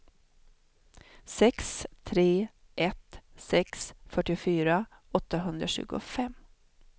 sex tre ett sex fyrtiofyra åttahundratjugofem